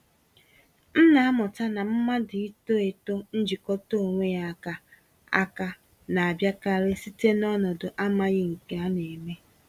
M na-amụta na mmadụ ito-eto njikọta onwe ya áká, áká, na-abịakarị site n'ọnọdụ amaghị nke a némè'.